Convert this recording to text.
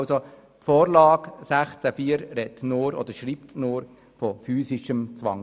Also die Vorlage 16 Absatz 4 schreibt nur von physischem Zwang.